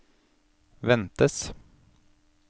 ventes